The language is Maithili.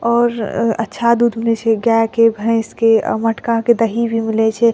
और अ अच्छा दूध मिले छै गाय के भैंस के आ मटका के दही भी मिले छै।